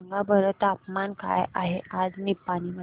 सांगा बरं तापमान काय आहे आज निपाणी मध्ये